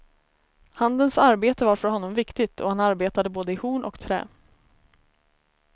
Handens arbete var för honom viktigt, och han arbetade både i horn och trä.